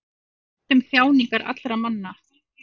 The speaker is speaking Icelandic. hann veit um þjáningar allra manna